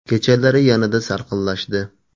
Kechalari yanada salqinlashdi.